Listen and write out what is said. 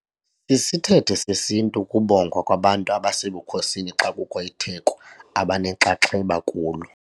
Sisithethe sesiNtu ukubongwa kwabantu basebukhosini xa kukho itheko abanenxaxheba kulo.